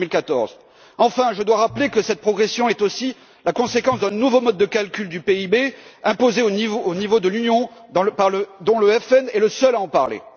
en 2014. Enfin, je dois rappeler que cette progression est aussi la conséquence d'un nouveau mode de calcul du PIB imposé au niveau de l'Union, dont le Front national est le seul à parler.